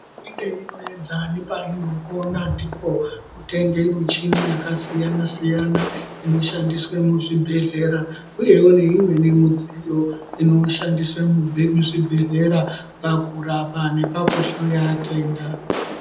Hurumende inoedza nepainokona ndipo kutenge michini yakasiyana siyana inoshandiswe muzvibhedhleya uyewo neimweni midziyo inoshandiswe muzvibhedhleya pakurapa nepakuhloya tenda.